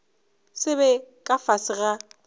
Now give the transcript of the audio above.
se be ka fase ga